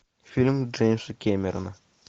фильм джеймса кэмерона